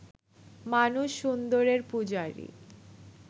মানুষ সুন্দরের পূজারি